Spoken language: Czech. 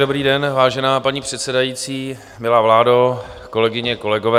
Dobrý den, vážená paní předsedající, milá vládo, kolegyně, kolegové.